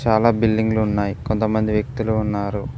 చాలా బిల్డింగ్లు ఉన్నాయి కొంతమంది వ్యక్తులు ఉన్నారు.